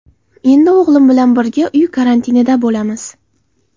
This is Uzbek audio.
Endi o‘g‘lim bilan birga uy karantinida bo‘lamiz.